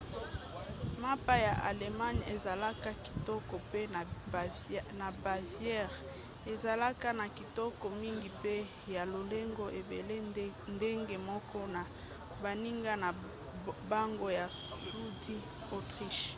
mapa ya allemagne ezalaka kitoko mpe na bavière ezalaka ya kitoko mingi mpe ya lolenge ebele ndenge moko na baninga na bango ya sudi autriche